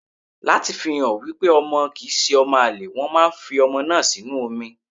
Láti fi hàn wípé ọmọ kì ń ṣe ọmọ àlè, wọn máa ń fi ọmọ náà sínú omi.